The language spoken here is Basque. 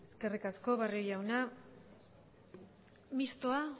eskerrik asko barrio jauna mistoa